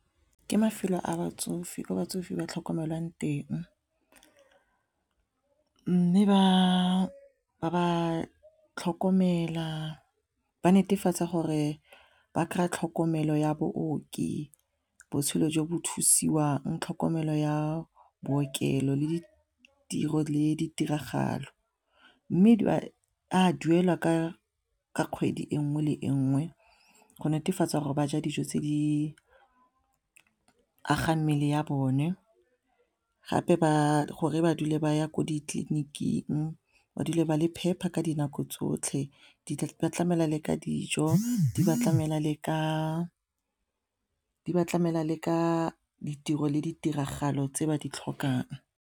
Ke mafelo a batsofe ko batsofe ba tlhokomelwang teng mme ba ba tlhokomela ba netefatsa gore ba kry-a tlhokomelo ya baoki, botshelo jo bo thusiwang, tlhokomelo ya bookelo le ditiro le ditiragalo mme a duelwa ka kgwedi e nngwe le enngwe go netefatsa gore ba ja dijo tse di agang mmele ya bone gape ba gore ba dule ba ya ko ditleliniking ba dule ba le phepa ka dinako tsotlhe di tlamela le ka dijo di ba tlamela le ka ditiro le ditiragalo tse ba di tlhokang.